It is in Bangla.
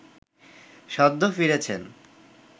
সদ্য ফিরেছেন